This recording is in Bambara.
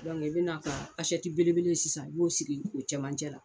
i bɛna ka asɛti bele bele in sisan i b'o sigi o cɛmancɛ la.